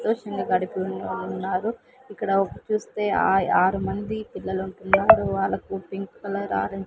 ఉన్నారు ఇక్కడ ఒక్ చూస్తే ఆయ్ ఆరు మంది పిల్లలు ఉన్నారు వాళ్లకు పింక్ కలర్ ఆరెంజ్ --